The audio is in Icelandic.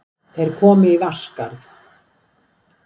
Þeir komu í Vatnsskarð.